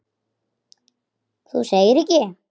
Þú segir ekki.